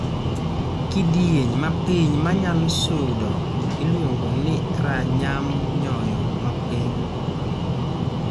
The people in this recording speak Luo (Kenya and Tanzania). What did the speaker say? Kidieny ma piny ma nyalo sudo iluongo ni ranyam nyoyo mapiny